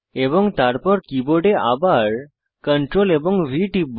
এবং তারপর আবার কীবোর্ডে CTRLV টিপব